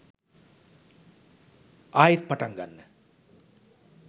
ආයෙත් පටන්ගන්න.